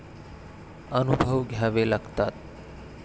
अनुभव घ्यावे लागतात.